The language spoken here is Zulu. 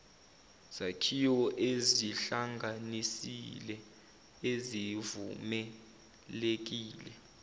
zakhiwo ezihlanganisile ezivumelekile